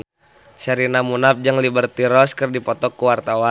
Sherina Munaf jeung Liberty Ross keur dipoto ku wartawan